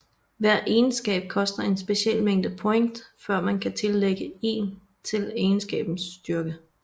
Hver egenskab koster en speciel mængde point før man kan tillægge 1 til egenskabens styrke